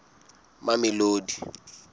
mamelodi